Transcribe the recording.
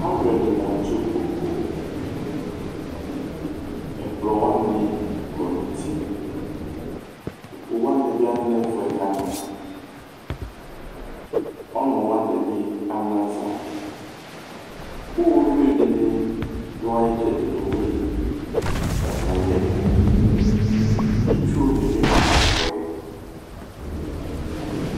Alʊ ɛdinɩ atʊ ɩkpokʊ Ɛkplɔ wanɩ kɔ nʊtɩ Kpokʊ wznɩ bɩ lɛ nɛfʊɛ kanʊ Ɔnʊ wanɩ bɩ anaza Iyovɩ dʊ ayɩ ɩtsɛdɩ nowʊelɩ aka ƴɛkʊ Ɩtsʊ nɩbɩ ma nɛfʊɛ